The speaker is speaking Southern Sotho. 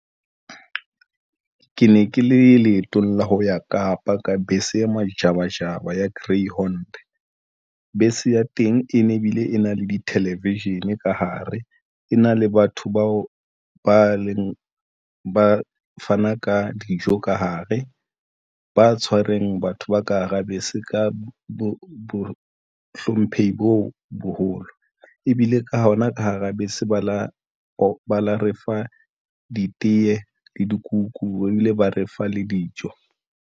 Ke ne ke le leetong la ho ya Kapa ka bese e majabajaba ya Greyhound, bese ya teng e ne ebile e na le di-television ka hare, e na le batho bao ba leng ba fana ka dijo ka hare, ba tshwareng batho ba ka hara bese ka bo hlomphehi bo boholo ebile ka hona ka hara bese. Ba la ba la refa, ditee le dikuku ebile ba refa le dijo.